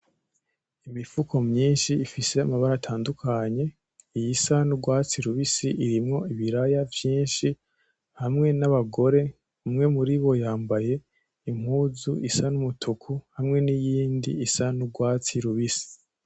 Imifuko myishi ifise amabara atandukanye iyisa n'urwatsi rubisi irimwo ibiraya vyishi hamwe n'abagore umwe muri bo yambaye impuzu isa n'agahama hamwe n'iyindi isa n'urwatsi rubisi.